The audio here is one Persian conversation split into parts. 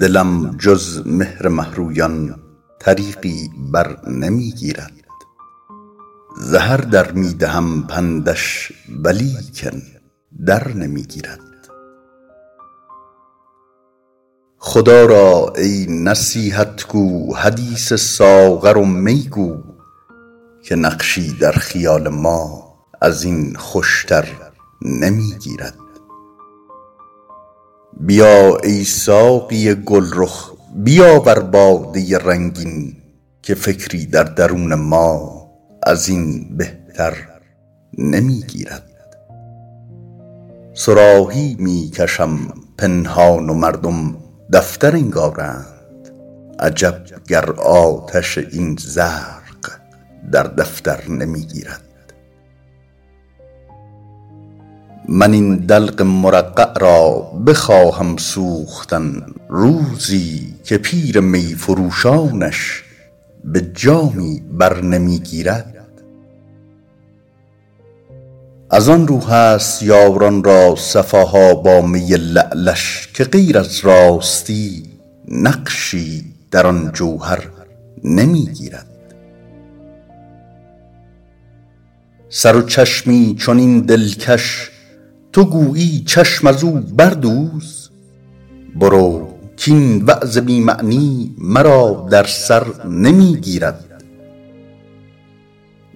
دلم جز مهر مه رویان طریقی بر نمی گیرد ز هر در می دهم پندش ولیکن در نمی گیرد خدا را ای نصیحت گو حدیث ساغر و می گو که نقشی در خیال ما از این خوش تر نمی گیرد بیا ای ساقی گل رخ بیاور باده رنگین که فکری در درون ما از این بهتر نمی گیرد صراحی می کشم پنهان و مردم دفتر انگارند عجب گر آتش این زرق در دفتر نمی گیرد من این دلق مرقع را بخواهم سوختن روزی که پیر می فروشانش به جامی بر نمی گیرد از آن رو هست یاران را صفا ها با می لعلش که غیر از راستی نقشی در آن جوهر نمی گیرد سر و چشمی چنین دلکش تو گویی چشم از او بردوز برو کاین وعظ بی معنی مرا در سر نمی گیرد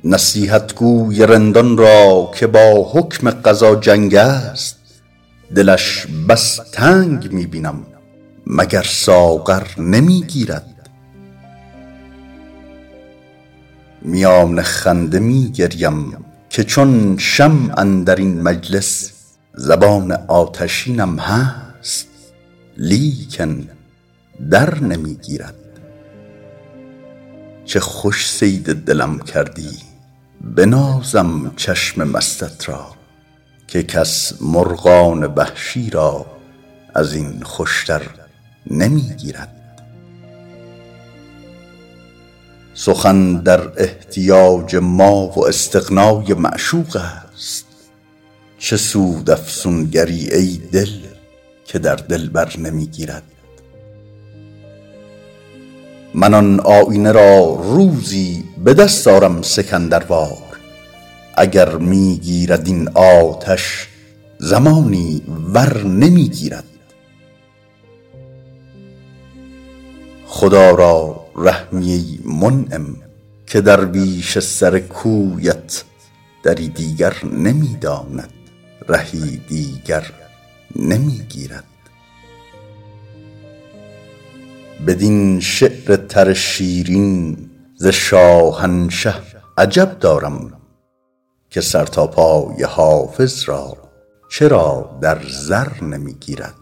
نصیحتگو ی رندان را که با حکم قضا جنگ است دلش بس تنگ می بینم مگر ساغر نمی گیرد میان گریه می خندم که چون شمع اندر این مجلس زبان آتشینم هست لیکن در نمی گیرد چه خوش صید دلم کردی بنازم چشم مستت را که کس مرغان وحشی را از این خوش تر نمی گیرد سخن در احتیاج ما و استغنا ی معشوق است چه سود افسونگر ی ای دل که در دلبر نمی گیرد من آن آیینه را روزی به دست آرم سکندر وار اگر می گیرد این آتش زمانی ور نمی گیرد خدا را رحمی ای منعم که درویش سر کویت دری دیگر نمی داند رهی دیگر نمی گیرد بدین شعر تر شیرین ز شاهنشه عجب دارم که سر تا پای حافظ را چرا در زر نمی گیرد